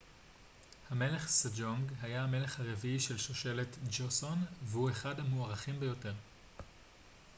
המלך סג'ונג היה המלך הרביעי של שושלת ג'וסון והוא אחד המוערכים ביותר